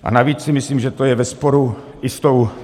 A navíc si myslím, že to je ve sporu i s tou...